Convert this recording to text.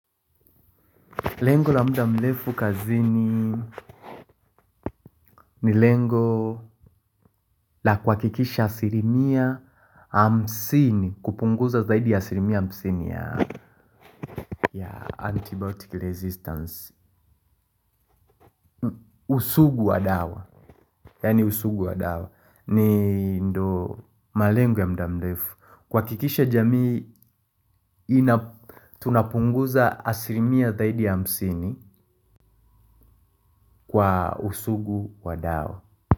Lengo la muda mrefu kazini ni lengo la kuhakikisha asilimia hamsini kupunguza zaidi ya asilimia hamsini ya antibiotic resistance. Usugu wa dawa, yaani usugu wa dawa ni ndio malengo ya muda mrefu. Kuhakikisha jamii, ina tunapunguza asilimia zaidi ya hamsini kwa usugu wa dawa.